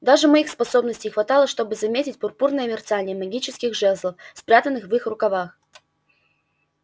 даже моих способностей хватало чтобы заметить пурпурное мерцание магических жезлов спрятанных в их рукавах